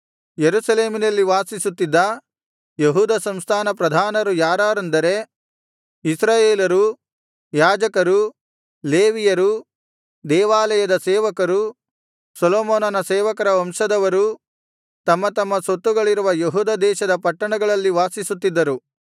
ಯೆರೂಸಲೇಮಿನಲ್ಲಿ ವಾಸಿಸುತ್ತಿದ್ದ ಯೆಹೂದ ಸಂಸ್ಥಾನ ಪ್ರಧಾನರು ಯಾರಾರೆಂದರೆ ಇಸ್ರಾಯೇಲರೂ ಯಾಜಕರೂ ಲೇವಿಯರೂ ದೇವಾಲಯದ ಸೇವಕರು ಸೊಲೊಮೋನನ ಸೇವಕರ ವಂಶದವರೂ ತಮ್ಮ ತಮ್ಮ ಸ್ವತ್ತುಗಳಿರುವ ಯೆಹೂದ ದೇಶದ ಪಟ್ಟಣಗಳಲ್ಲಿ ವಾಸಿಸುತ್ತಿದ್ದರು